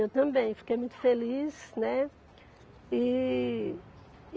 Eu também fiquei muito feliz, né? E